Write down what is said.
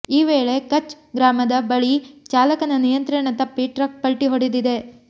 ಈ ವೇಳೆ ಕಛ್ ಗ್ರಾಮದ ಬಳಿ ಚಾಲಕನ ನಿಯಂತ್ರಣ ತಪ್ಪಿ ಟ್ರಕ್ ಪಲ್ಟಿ ಹೊಡೆದಿದೆ